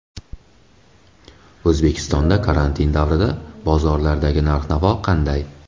O‘zbekistonda karantin davrida bozorlardagi narx-navo qanday?.